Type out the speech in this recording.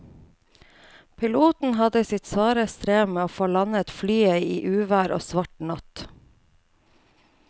Piloten hadde sitt svare strev med å få landet flyet i uvær og svart natt.